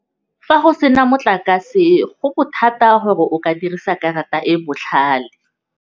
Fa go sena motlakase go bothata gore o ka dirisa karata e botlhale.